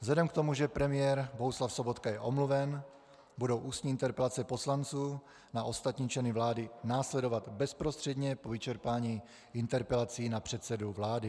Vzhledem k tomu, že premiér Bohuslav Sobotka je omluven, budou ústní interpelace poslanců na ostatní členy vlády následovat bezprostředně po vyčerpání interpelací na předsedu vlády.